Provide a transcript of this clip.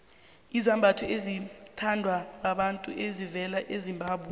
izambatho ezithandwa babantu zivela ezimbabwe